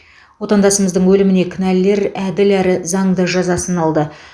отандасымыздың өліміне кінәлілер әділ әрі заңды жазасын алды